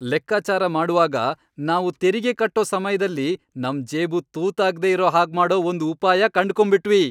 ಲೆಕ್ಕಾಚಾರ ಮಾಡುವಾಗ, ನಾವು ತೆರಿಗೆ ಕಟ್ಟೋ ಸಮಯ್ದಲ್ಲಿ ನಮ್ ಜೇಬು ತೂತಾಗ್ದೇ ಇರೋ ಹಾಗ್ಮಾಡೋ ಒಂದ್ ಉಪಾಯ ಕಂಡ್ಕೊಂಬಿಟ್ವಿ!